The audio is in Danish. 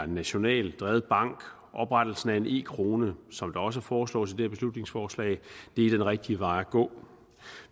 nationalt drevet bank og oprettelsen af en e krone som der også foreslås i det her beslutningsforslag er den rigtige vej at gå